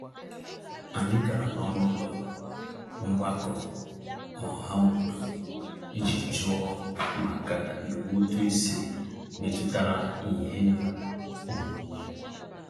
Anyị gara n'ọnụụlọ mgbakọ ọhaobodo iji jụọ maka iwu ụtụisi metụtara ihe onwunwe.